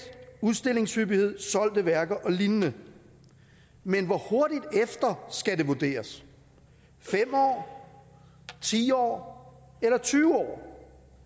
udstillingshyppighed solgte værker og lignende men hvor hurtigt efter skal det vurderes fem år ti år eller tyve år